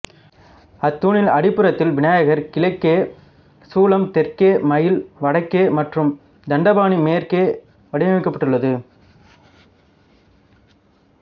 அத் தூணின் அடிப்புறத்தில் விநாயகர் கிழக்கே சூலம் தெற்கே மயில் வடக்கே மற்றும் தண்டபாணி மேற்கே வடிக்கப்பட்டுள்ளது